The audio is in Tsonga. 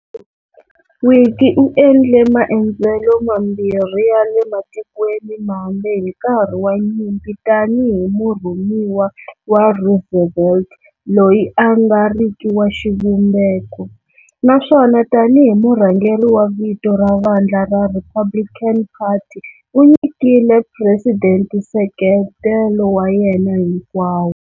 Willkie u endle maendzo mambirhi ya le matikweni mambe hi nkarhi wa nyimpi tani hi murhumiwa wa Roosevelt loyi a nga riki wa xivumbeko, naswona tani hi murhangeri wa vito wa vandla ra Republican Party u nyikile president nseketelo wa yena hinkwawo.